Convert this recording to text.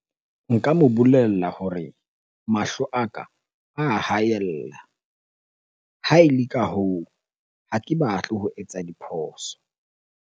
Nka mo bolella hore mahlo a ka a haella. Ha ele ka hoo, ha ke batle ho etsa diphoso.